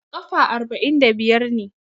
Kafa arba'in da biyar ne.